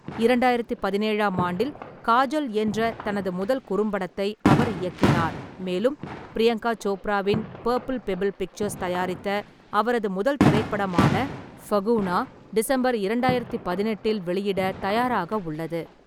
இரண்டாயிரத்து பதினேழாம் ஆண்டில் காஜல் என்ற தனது முதல் குறும்படத்தை அவர் இயக்கினார், மேலும் பிரியங்கா சோப்ராவின் பர்ப்பிள் பெப்பிள் பிக்சர்ஸ் தயாரித்த அவரது முதல் திரைப்படமான 'ஃபஹுனா' டிசம்பர் இரண்டாயிரத்து பதினெட்டில் வெளியிட தயாராக உள்ளது.